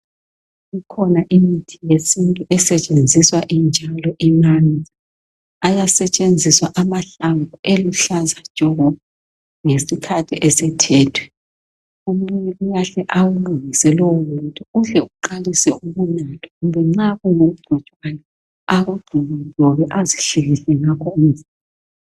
Ikhona imithi yesintu esetshenziswa injalo imanzi. Ayasetshenziswa amahlamvu eluhlaza tshoko ngesikhaththi esethethwe. Omunye uyahle awulungise lowo muthi uhle uqalise ukunathwa kumbe nxa kulomuntu akugxoba gxobe azihlikihle ngakho umzimba